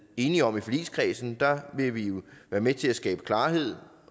enige om i forligskredsen vil vi jo være med til at skabe klarhed